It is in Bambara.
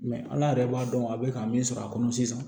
ala yɛrɛ b'a dɔn a bɛ ka min sɔrɔ a kɔnɔ sisan